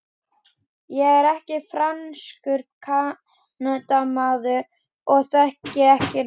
Ég er ekki franskur Kanadamaður og þekki þetta ekki.